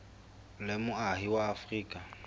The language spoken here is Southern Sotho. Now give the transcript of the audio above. o le moahi wa afrika